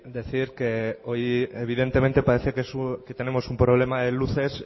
decir que hoy evidentemente parece que tenemos un problema de luces